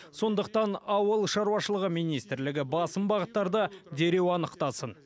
сондықтан ауыл шаруашылығы министрлігі басым бағыттарды дереу анықтасын